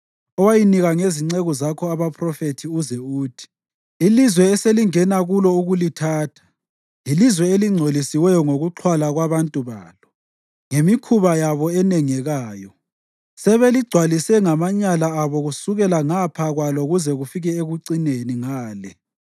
owayinika ngezinceku zakho abaphrofethi uze uthi: ‘Ilizwe eselingena kulo ukulithatha yilizwe elingcolisiweyo ngokuxhwala kwabantu balo. Ngemikhuba yabo enengekayo sebeligcwalise ngamanyala abo kusukela ngapha kwalo kuze kufike ekucineni ngale.